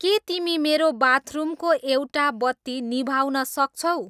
के तिमी मेरो बाथरुमको एउटा बत्ती निभाउन सक्छौ